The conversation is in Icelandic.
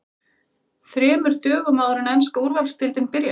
ÞREMUR DÖGUM áður en enska Úrvalsdeildin byrjar?